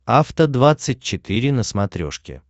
афта двадцать четыре на смотрешке